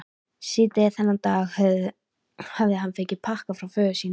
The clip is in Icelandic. Síðdegis þennan dag hafði hann fengið pakka frá föður sínum.